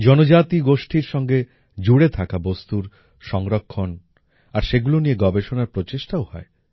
জনজাতীয় গোষ্ঠীর সঙ্গে জুড়ে থাকা বস্তুর সংরক্ষণ আর সেগুলো নিয়ে গবেষণার প্রচেষ্টাও হয়